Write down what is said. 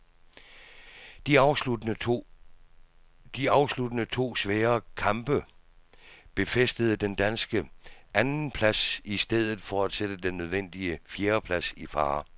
De afsluttende to svære kamp befæstede den danske andenplads i stedet for at sætte den nødvendige fjerdeplads i fare.